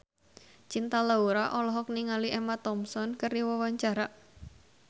Cinta Laura olohok ningali Emma Thompson keur diwawancara